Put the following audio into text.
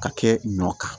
Ka kɛ ɲɔ kan